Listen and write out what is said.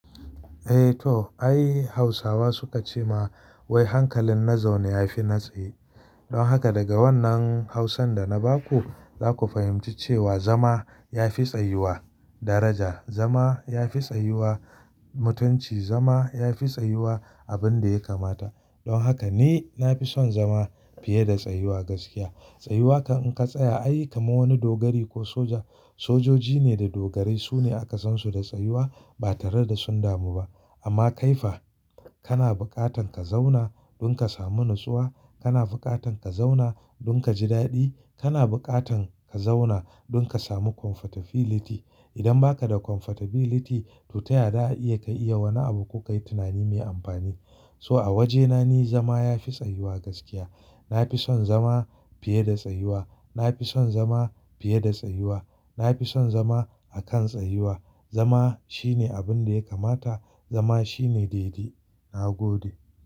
Eh to ai Hausawa suka ce ma wai hankalin na zaune ya fi na tsaye. Don haka daga wannan Hausan da na ba ku, za ku fahimci cewa zama ya fi tsayuwa daraja. Zama ya fi tsayuwa mutunci. Zama ya fi tsayuwa abin da ya kamata. Don haka ni na fi son zama fiye da tsayuwa gaskiya. Tsayuwa in ka tsaya ai kamar wani dogari ko soja. Sojoji ne da dogarai su ne aka san su da tsayuwa ba tare da sun damu ba. Amma kaifa kana buƙatan ka zauna don ka sami natsuwa, kana buƙatan ka zauna don ka ji daɗi, kana buƙatan ka zauna don ka sami comfortability. Idan ba ka da comfortability to ta yaya za ka iya wani abu ko ka yi tunani mai amfani. So a wajena ni zama ya fi tsayuwa gaskiya. Na fi son zama fiye da tsayuwa. Na fi son zama fiye da tsayuwa. Na fi son zama a kan tsayuwa. Zama shine abin da ya kamata. Zama shine dai dai. Na gode.